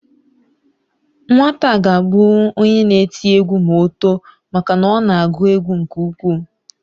Nwata a ga abụnwu onye n'eti egwu ma o too maka na ọ na agụ egwu nke ukwuu